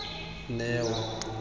neo